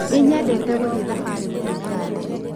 Nĩnyendete gũthiĩ thabarĩ gũtũmĩra ndege